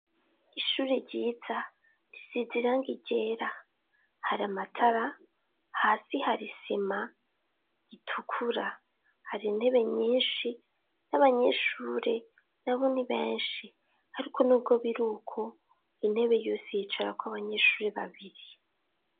Ishuri ryiza risize irangi ryera, hari amatara hasi hari isima itukura hari intebe nyinshi n'abanyeshuri nabo ni benshi ariko nubwo biruko intebe yose yicarako abanyeshuri babiri.